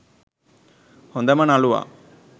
හොඳම නළුවා